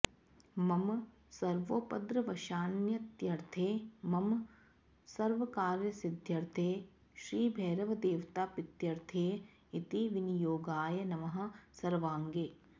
मम सर्वोपद्रवशान्त्यर्थे मम सर्वकार्यसिध्यर्थे श्रीभैरवदेवताप्रीत्यर्थे इति विनियोगाय नमः सर्वाङ्गे